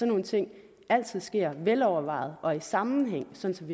nogle ting altid sker velovervejet og i sammenhæng sådan